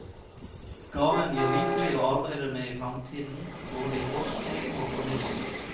Gaven gir rikelig å arbeide med i fremtiden, både i forskning og formidling.